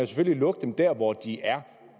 selvfølgelig lukke dem der hvor de er